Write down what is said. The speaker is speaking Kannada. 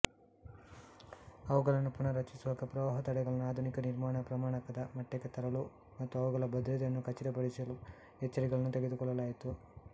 ಅವುಗಳನ್ನು ಪುನಃರಚಿಸುವಾಗ ಪ್ರವಾಹ ತಡೆಗಳನ್ನು ಆಧುನಿಕ ನಿರ್ಮಾಣ ಪ್ರಮಾಣಕದ ಮಟ್ಟಕ್ಕೆ ತರಲು ಮತ್ತು ಅವುಗಳ ಭದ್ರತೆಯನ್ನು ಖಚಿತಪಡಿಸಲು ಎಚ್ಚರಿಕೆಗಳನ್ನು ತೆಗೆದುಕೊಳ್ಳಲಾಯಿತು